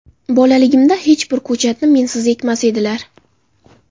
Bolaligimda hech bir ko‘chatni mensiz ekmas edilar.